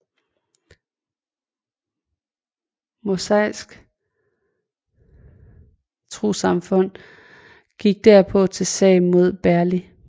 Mosaisk Trossamfund gik derpå til sag mod Berli